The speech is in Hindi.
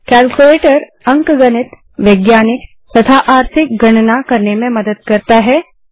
केल्क्युलेटर अंकगणित वैज्ञानिक तथा आर्थिक गणना करने में मदद करता है